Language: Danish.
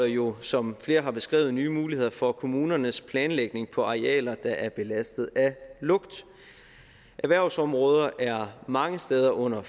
jo som flere har beskrevet indeholder nye muligheder for kommunernes planlægning på arealer der er belastet af lugt erhvervsområder er mange steder under